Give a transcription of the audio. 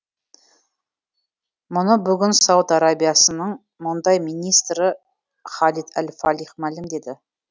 мұны бүгін сауд арабиясының мұнай министрі халид әл фалих мәлімдеді